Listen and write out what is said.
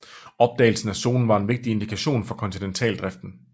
Opdagelsen af zonen var en vigtig indikation for kontinentaldriften